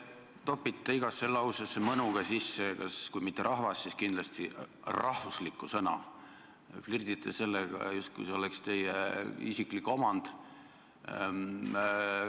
Te topite igasse lausesse mõnuga sisse kui mitte sõna "rahvas", siis kindlasti sõna "rahvuslik", te flirdite sellega, justkui see oleks teie isiklik omand.